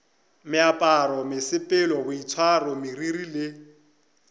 meaparo mesepelo boitshwaro meriri le